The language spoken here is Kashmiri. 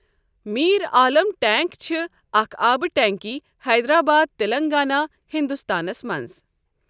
میر عالم ٹینک چھِ اکھ آبہٕ ٹینکی حیدرآباد، تلنگانہ، ہُنٛدستانَس منٛز۔